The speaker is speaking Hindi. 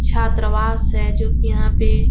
छात्रावास है जो की यहाँ पे --